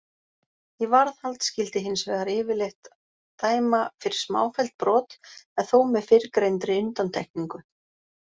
Í varðhald skyldi hins vegar yfirleitt dæma fyrir smáfelld brot en þó með fyrrgreindri undantekningu.